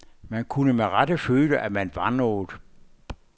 Man kunne med rette føle, at man var noget.